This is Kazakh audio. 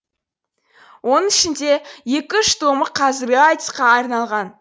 оның ішінде екі үш томы қазіргі айтысқа арналған